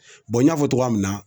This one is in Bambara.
n y'a fɔ cogoya min na